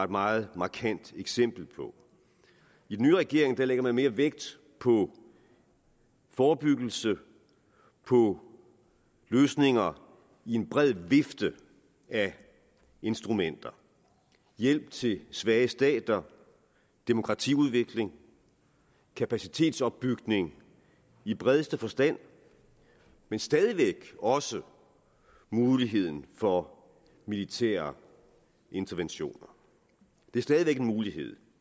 meget markant eksempel på i den nye regering lægger man mere vægt på forebyggelse og på løsninger i en bred vifte af instrumenter hjælp til svage stater demokratiudvikling og kapacitetsopbygning i bredeste forstand men stadig væk også muligheden for militære interventioner det er stadig væk en mulighed